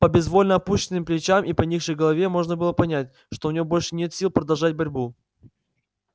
по безвольно опущенным плечам и поникшей голове можно было понять что у него больше нет сил продолжать борьбу